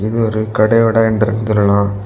இது ஒரு கடையோட என்டர்ன் சொல்லலா.